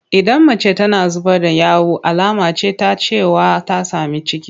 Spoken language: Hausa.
Idan mace tana zubar da yawu alama ce ta cewa ta sami ciki.